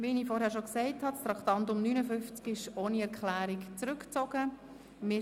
Wie ich bereits zuvor gesagt habe, ist das Traktandum 59 ohne Erklärung zurückgezogen worden.